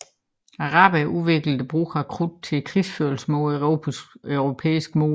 Araberne udviklede brugen af krudtet til krigsførelse mod europæiske mål